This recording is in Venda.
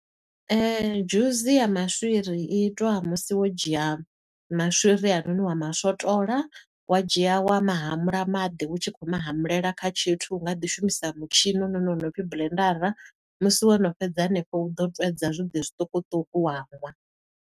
Dzhusi ya maswiri i itwa musi wo dzhia maswiri a noni wa maswotola, wa dzhia wa ma hamula maḓi, u tshi khou mahamulela kha tshithu u nga ḓi shumisa mutshini u noni wo no pfi buḽendara. Musi wo no fhedza hanefho u ḓo twedza zwiḓi zwiṱukuṱuku wa ṅwa.